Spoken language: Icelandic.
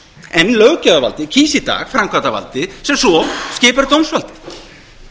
en löggjafarvaldið kýs í dag framkvæmdarvaldið sem svo skipar dómsvaldið